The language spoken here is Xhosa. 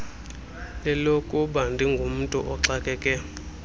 lelokuba ndingumntu oxakeke